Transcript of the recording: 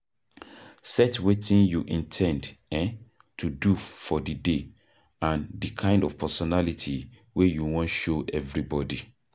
set wetin you in ten d um to do for di day and di kind of personality wey you wan show everybody